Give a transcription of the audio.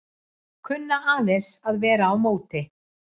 Kunna aðeins að vera á móti